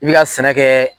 I bɛ ka sɛnɛ kɛ